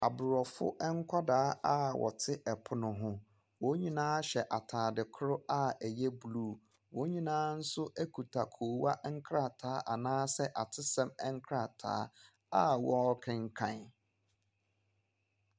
Aborɔfo nkwalaa a wɔte ɛpono ho, wonyinaa hyɛ ataade koro a ɛyɛ blu. Wonyinaa so ekuta koowa nkrataa anaa sɛ atesɛm nkrataa a wɔɔkenkan.